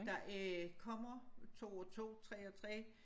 Der øh kommer 2 og 2 3 og 3